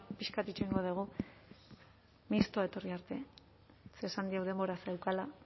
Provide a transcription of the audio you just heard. pixka bat itxoingo dugu mistoa etorri arte ze esan diot denbora zeukala